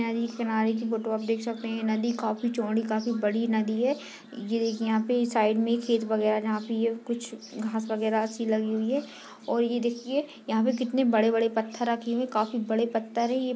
नदी किनारे की फोटो आप देख सकते हैनदी काफी चौड़ी काफी बड़ी नदी है ये देखिये यहाँ पे साइड में खेत वगेरा भी है जहाँ पे ये कुछ घास वगेरा सी लगी हुई है और ये देखिये यहाँ पे कितने बड़े बड़े पत्थर रखे हुआ है कफी बढ़े पत्थर है ये--